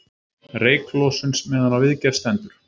Reyklosun meðan á viðgerð stendur